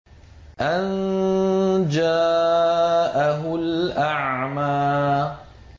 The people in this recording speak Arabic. أَن جَاءَهُ الْأَعْمَىٰ